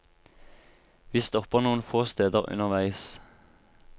Vi stopper noen få steder underveis.